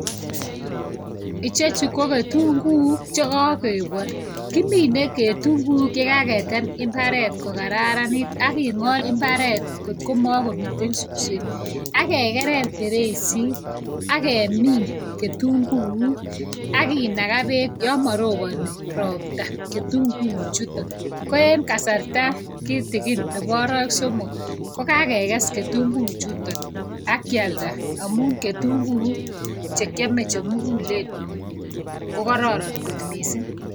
ichek chu ko ketunguuk chekakebal. kimine ketunguuk chekaketem mbaret kokararanit aking'ot mbaret kotko makomiten suswek, akekerer, akemin ketunguuk, akinaga peek yamaroboni ropta ketunguu chutok. koen kasarta kitigin nebo arawek somok kokakekes ketunguuk chutok akialda amun ketunguuk chekiame chemugulen kokororon kot miising'